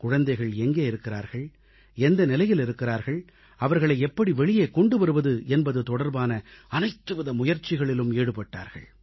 குழந்தைகள் எங்கே இருக்கிறார்கள் எந்த நிலையில் இருக்கிறார்கள் அவர்களை எப்படி வெளியே கொண்டு வருவது என்பது தொடர்பான அனைத்துவித முயற்சிகளிலும் ஈடுபட்டார்கள்